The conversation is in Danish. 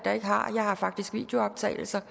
der ikke har jeg har faktisk videooptagelser